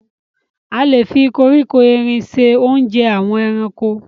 A lè fi koríko erin ṣe oúnjẹ àwọn ẹranko.